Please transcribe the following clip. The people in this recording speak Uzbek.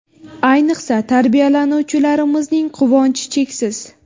Ayniqsa, tarbiyalanuvchilarimizning quvonchi cheksiz.